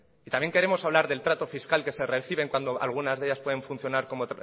y también queremos hablar del trato fiscal que se recibe cuando algunas de ellas pueden funcionar como